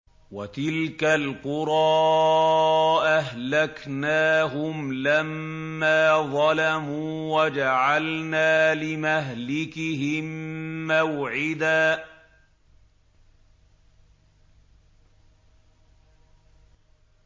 وَتِلْكَ الْقُرَىٰ أَهْلَكْنَاهُمْ لَمَّا ظَلَمُوا وَجَعَلْنَا لِمَهْلِكِهِم مَّوْعِدًا